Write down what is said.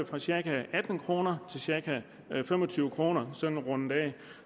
fra cirka atten kroner til cirka fem og tyve kroner sådan rundet af